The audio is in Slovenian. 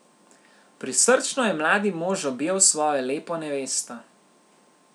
Prisrčno je mladi mož objel svojo lepo nevesto.